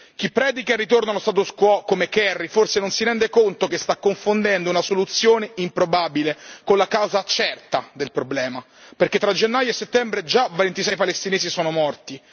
Chi predica il ritorno allo status quo, come Kerry, forse non si rende conto che sta confondendo una soluzione improbabile con la causa certa del problema, perché tra gennaio e settembre già 26 palestinesi sono morti.